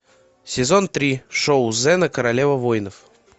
сезон три шоу зена королева воинов